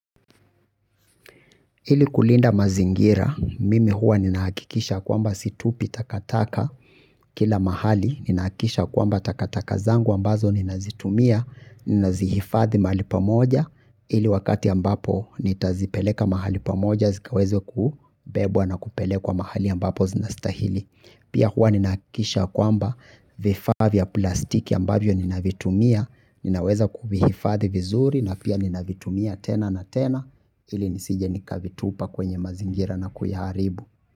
Ili kulinda mazingira, mimi huwa ninahakikisha kwamba situpi takataka kila mahali, ninahakisha kwamba takataka zangu ambazo ninazitumia, ninazihifadhi mahali pamoja, ili wakati ambapo nitazipeleka mahali pamoja zikaweze kubebwa na kupelekwa mahali ambapo zinastahili. Pia huwa ninahakikisha kwamba vifaa vya plastiki ambavyo ninavitumia, ninaweza kuvihifadhi vizuri na pia ninavitumia tena na tena ili nisije nikavitupa kwenye mazingira na kuyaharibu.